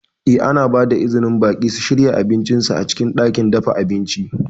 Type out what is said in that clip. Eh, ana ba da izinin baƙi su shirya abincin su a cikin ɗakin dafa abinci.